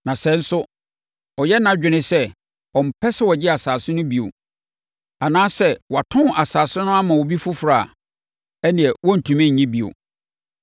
Na sɛ nso ɔyɛ nʼadwene sɛ ɔmpɛ sɛ ɔgye asase no bio, anaasɛ sɛ watɔn asase no ama obi foforɔ a, ɛnneɛ wɔrentumi nnye bio.